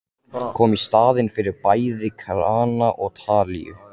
Kom í staðinn fyrir bæði krana og talíu.